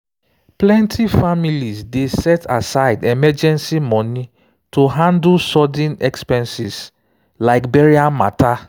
plenty families dey set aside emergency money to handle sudden handle sudden expenses like burial matter.